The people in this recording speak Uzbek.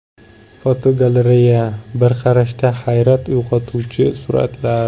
Fotogalereya: Bir qarashda hayrat uyg‘otuvchi suratlar.